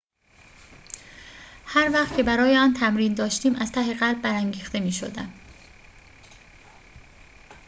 هر وقت که برای آن تمرین داشتیم از ته قلب برانگیخته می‌شدم